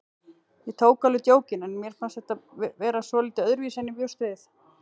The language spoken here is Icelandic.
Ég tók alveg djókinu en mér fannst þetta vera svolítið öðruvísi en ég bjóst við.